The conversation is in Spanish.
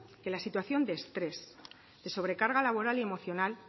que la situación de estrés de sobrecarga laboral y emocional